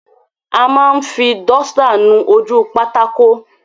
A máa ń fi dọ́stà nu ojú pátákó.